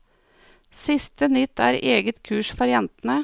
Siste nytt er eget kurs for jentene.